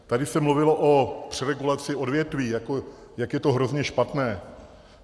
Tady se mluvilo o přeregulaci odvětví, jak je to hrozně špatné.